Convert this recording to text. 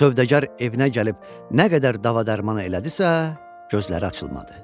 Sövdəgər evinə gəlib nə qədər dava-dərman elədisə, gözləri açılmadı.